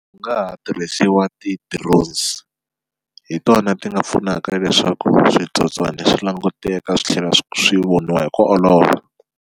Ku nga ha tirhisiwa ti-drones hi tona ti nga pfunaka leswaku switsotswana swi languteka swi tlhela swi voniwa hi ku olova.